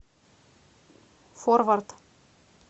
форвард